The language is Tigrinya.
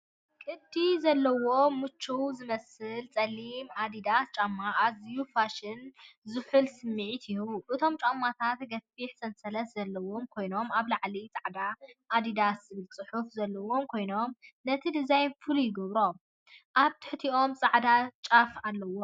ቅዲ ዘለዎን ምቹውን ዝመስል ጸሊም ኣዲዳስ ጫማ! ኣዝዩ ፋሽንን ዝሑልን ስምዒት ይህቡ! እቶም ጫማታት ገፊሕ ሰንሰለት ዘለዎም ኮይኖም ኣብ ላዕሊ ጻዕዳ "ኣዲዳስ" ዝብል ጽሑፍ ዘለዎም ኮይኖም፡ ነቲ ዲዛይን ፍሉይ ይገብሮ። ኣብ ትሕቲኦም ጻዕዳ ጫፍ ኣለዎም።